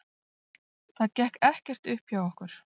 Það gekk ekkert upp hjá okkur.